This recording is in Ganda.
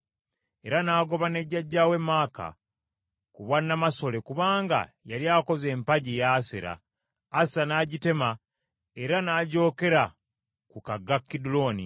Era n’agoba ne jjajjaawe Maaka ku bwa namasole kubanga yali akoze empagi ya Asera. Asa n’agitema era n’agyokera ku kagga Kidulooni.